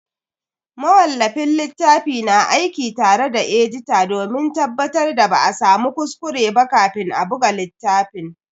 Mawallafin littafi na aiki tare da edita domin tabbatar da ba a samu kuskure ba kafin a buga littafin.